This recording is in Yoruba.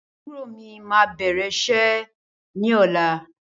Àbúrò mí máa bẹ̀rẹ̀ iṣẹ́ ní ọ̀la.